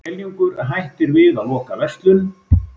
Skeljungur hættir við að loka verslun